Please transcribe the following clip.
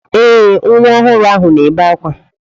Ee, nwa ọhụrụ ahụ na-ebe akwa.